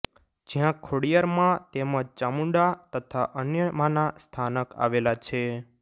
જ્યાં ખોડિયાર મા તેમજ ચામુડાં તથા અન્ય માનાં સથાનક આવેલાં છે